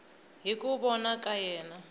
hi ku vona ka yena